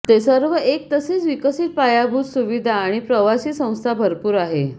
ते सर्व एक तसेच विकसित पायाभूत सुविधा आणि प्रवासी संस्था भरपूर आहे